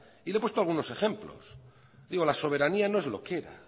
y le he puesto algunos ejemplos la soberanía no es lo que era hay